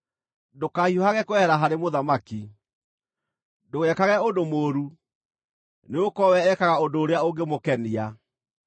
Ndũkahiũhage kwehera harĩ mũthamaki. Ndũgekage ũndũ mũũru, nĩgũkorwo we ekaga ũndũ ũrĩa ũngĩmũkenia.